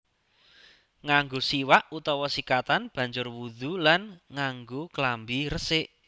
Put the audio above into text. Nganggo siwak utawa sikatan banjur wudhu lan nganggo klambi resik